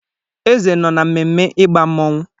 Eze nọ na mmemme ịgba mmọnwụ.